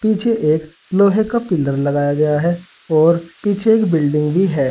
पीछे एक लोहे का पिलर लगाया गया है और पीछे एक बिल्डिंग भी है।